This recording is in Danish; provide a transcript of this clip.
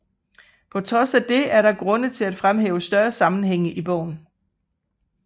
På trods af det er der grund til at fremhæve større sammenhænge i bogen